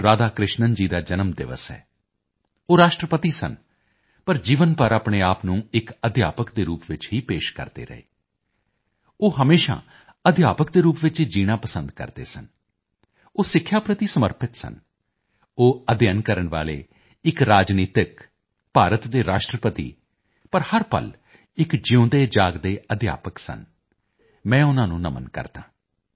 ਰਾਧਾ ਕ੍ਰਿਸ਼ਨਨ ਜੀ ਦਾ ਜਨਮ ਦਿਵਸ ਹੈ ਉਹ ਰਾਸ਼ਟਰਪਤੀ ਸਨ ਪਰ ਜੀਵਨ ਭਰ ਆਪਣੇ ਆਪ ਨੂੰ ਇੱਕ ਅਧਿਆਪਕ ਦੇ ਰੂਪ ਵਿੱਚ ਹੀ ਪੇਸ਼ ਕਰਦੇ ਰਹੇ ਉਹ ਹਮੇਸ਼ਾ ਅਧਿਆਪਕ ਦੇ ਰੂਪ ਵਿੱਚ ਹੀ ਜੀਣਾ ਪਸੰਦ ਕਰਦੇ ਸਨ ਉਹ ਸਿੱਖਿਆ ਪ੍ਰਤੀ ਸਮਰਪਿਤ ਸਨ ਉਹ ਅਧਿਐਨ ਕਰਨ ਵਾਲੇ ਇੱਕ ਰਾਜਨੀਤਿਕ ਭਾਰਤ ਦੇ ਰਾਸ਼ਟਰਪਤੀ ਪਰ ਹਰ ਪਲ ਇੱਕ ਜਿਊਂਦੇ ਜਾਗਦੇ ਅਧਿਆਪਕ ਸਨ ਮੈਂ ਉਨਾਂ ਨੂੰ ਨਮਨ ਕਰਦਾ ਹਾਂ